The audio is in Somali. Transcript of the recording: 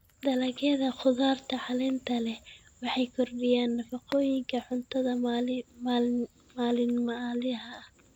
Dalagyada khudaarta caleenta leh waxay kordhiyaan nafaqooyinka cuntada maalinlaha ah.